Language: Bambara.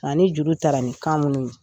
Ani juru taara ni kan min ye.